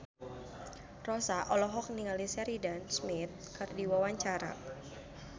Rossa olohok ningali Sheridan Smith keur diwawancara